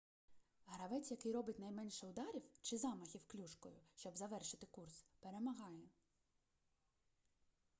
гравець який робить наймеше ударів чи замахів клюшкою щоб завершити курс перемагає